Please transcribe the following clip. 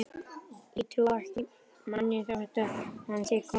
Ég trúi ekki manni þótt hann sé konungur.